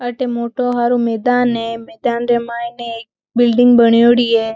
अठे मोटो हरो मैदान है मैदान रे मायने एक बिल्डिंग बण्योड़ी है।